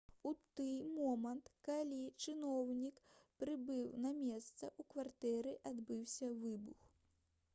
у тый момант калі чыноўнік прыбыў на месца у кватэры адбыўся выбух